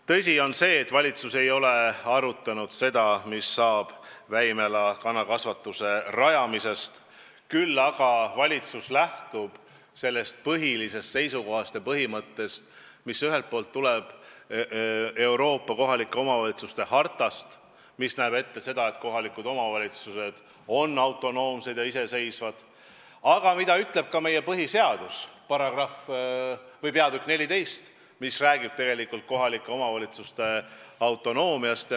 Tõsi on, et valitsus ei ole arutanud, mis saab Väimela kanakasvanduse rajamisest, küll aga valitsus lähtub sellest seisukohast ja põhimõttest, mis ühelt poolt tuleneb Euroopa kohaliku omavalitsuse hartast ja näeb ette, et kohalikud omavalitsused on autonoomsed, ning teiselt poolt räägib ka meie põhiseaduse peatükk XIV kohalike omavalitsuste autonoomiast.